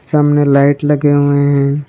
सामने लाइट लगे हुए हैं।